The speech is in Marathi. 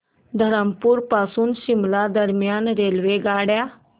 धरमपुर पासून शिमला दरम्यान रेल्वेगाड्या